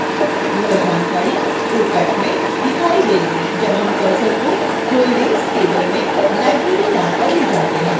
यह जानकारी opac में दिखाई देगी जब हम cursor को holdings table में library name पर ले जाते हैं